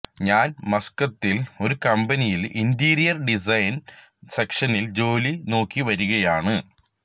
ഞാൻ മസ്കത്തിൽ ഒരു കമ്പനിയിൽ ഇൻറീരിയർ ഡിസൈൻ സെക്ഷനിൽ ജോലി നോക്കി വരികയാണ്